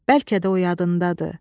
Bəlkə də o yadındadır.